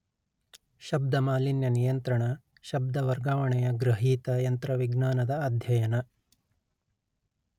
ಶಬ್ದ ಮಾಲಿನ್ಯ ನಿಯಂತ್ರಣ ಶಬ್ದ ವರ್ಗಾವಣೆಯ ಗ್ರಹೀತ ಯಂತ್ರವಿಜ್ಞಾನದ ಅಧ್ಯಯನ